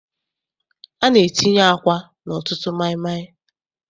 A na-etinye àkwá n'ọtụtụ maịmaị.